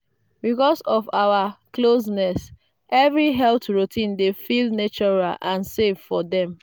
because of our closeness every health routine dey feel natural and safe for them.